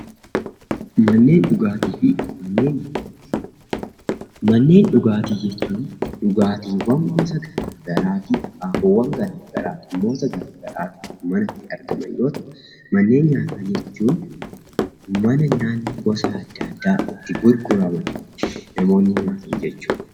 Manneen dhugaatii fi manneen nyaataa , manneen dhugaatii jechuun dhugaatiiwwan gosa garaagaraa fi akaakuuwwan dhimmoota garaagaraaf manatti argaman yemmuu ta'u , manneen nyaataa jechuun mana nyaanni gosa addaa addaa itti gurguraman namoonni nyaatan jechuudha